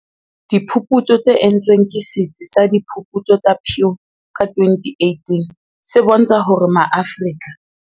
Diphuputso tse entsweng ke Setsi sa Diphuputso sa Pew ka 2018 se bontsha hore Maafrika